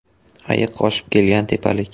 Ayiq oshib kelgan tepalik.